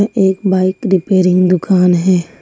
एक bike repairing दुकान है।